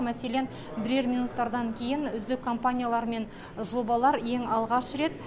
мәселен бірер минуттардан кейін үздік компаниялар мен жобалар ең алғаш рет